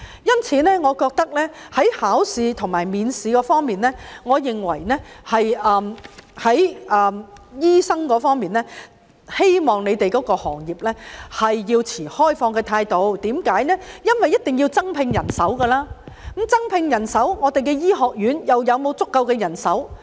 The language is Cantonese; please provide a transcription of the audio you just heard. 因此，在考試及面試方面，我希望醫生對自己的行業持開放態度，因為一定要增聘人手，但我們的醫學院又能否提供足夠人手？